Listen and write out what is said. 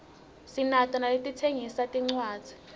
sinato naletitsengisa tincwadzi